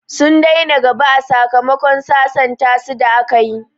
Sun daina gaba a sakamakon sasanta su da a kayi